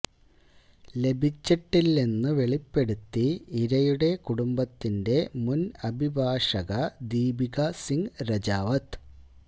ലഭിച്ചിട്ടില്ലെന്ന് വെളിപ്പെടുത്തി ഇരയുടെ കുടുംബത്തിന്റെ മുൻ അഭിഭാഷക ദീപിക സിങ് രജാവത്ത്